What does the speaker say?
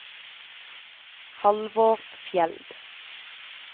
Halvor Fjeld